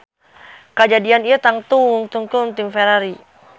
Kajadian ieu tangtu nguntungkeun tim Ferrari